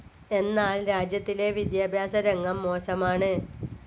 എന്നാൽ രാജ്യത്തിലെ വിദ്യാഭ്യാസ രംഗം മോശമാണ്.